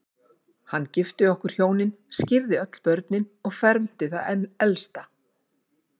Hann gifti okkur hjónin, skírði öll börnin og fermdi það elsta.